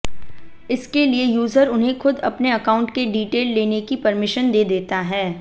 इसके लिए यूजर उन्हें खुद अपने अकाउंट के डिटेल लेने की परमिशन दे देता है